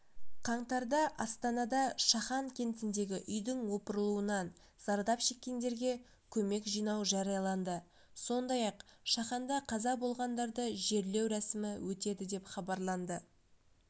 қаңтарда астанада шахан кентіндегі үйдің опырылуынан зардап шеккендерге көмек жинау жарияланды сондай-ақ шаханда қаза болғандарды жерлеу рәсімі өтеді деп хабарланды